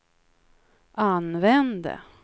använde